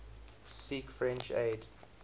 seek french aid